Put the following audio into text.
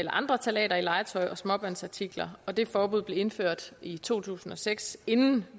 andre ftalater i legetøj og småbørnsartikler og det forbud blev indført i to tusind og seks inden